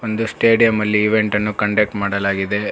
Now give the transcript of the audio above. ದು ಸ್ಟೇಡಿಯಂ ಅಲ್ಲಿ ಇವೆಂಟ್ ಅನ್ನು ಕಂಡಕ್ಟ್ ಮಾಡಲಾಗಿದೆ.